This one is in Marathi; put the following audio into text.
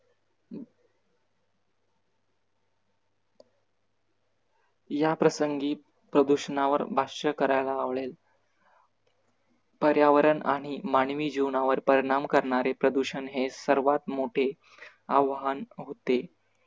याप्रसंगी प्रदूषणावर भाष्य करायला आवडेल पर्यावरण आणि मानवी जीवनावर परिणाम करणारे प्रदूषण हे सर्वात मोठे आव्हान होते.